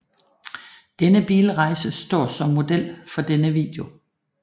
Denne bilrejse står som model for denne video